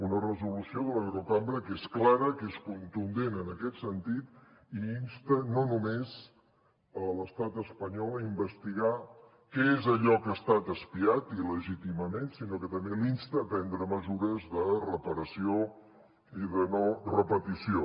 una resolució de l’eurocambra que és clara que és contundent en aquest sentit i insta no només l’estat espanyol a investigar què és allò que ha estat espiat il·legítimament sinó que també l’insta a prendre mesures de reparació i de no repetició